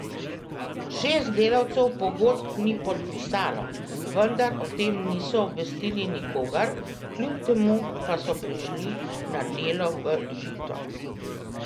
Šest delavcev pogodb ni podpisalo, vendar o tem niso obvestili nikogar, kljub temu pa so prišli na delo v Žito.